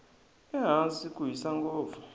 ehansi ku hisa ngopfu